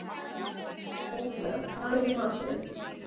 Sophia, hvað er í matinn?